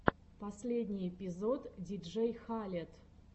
последний эпизод диджей халед